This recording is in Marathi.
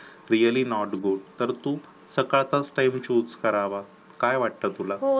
Really not good तर तू सकाळचाच time choose करावा.